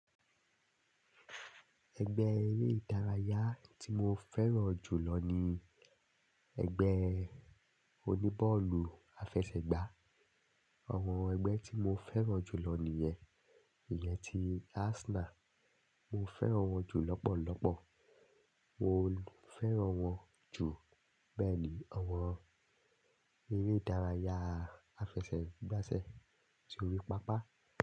Ẹgbẹ́ eré ìdárayá tí mo fẹ́ràn jù lọ ní ẹgbẹ́ oní bọ́ọ̀lù àfẹsẹ̀gbá. Àwọn ẹgbẹ́ tí mo fẹ́ràn jù lọ nìyẹn. Ìyẹn ti Arsenal, mo fẹ́ràn wọn jù lọ́pọ̀lọ́pọ̀. Mo fẹ́ràn wọn jù. Bẹ́ẹ̀ ni àwọn eré ìdárayá àfẹsẹ̀gbá ṣe sórí pápá.